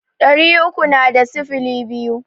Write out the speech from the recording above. Ɗari uku na da sifili biyu.